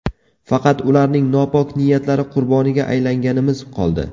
Faqat ularning nopok niyatlari qurboniga aylanganimiz qoldi.